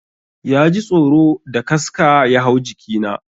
Ya ji tsoro da kaska ya hau jiki na.